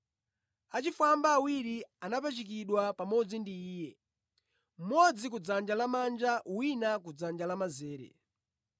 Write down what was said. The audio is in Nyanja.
Achifwamba awiri anapachikidwa pamodzi ndi Iye, mmodzi kudzanja lamanja wina kudzanja lamanzere.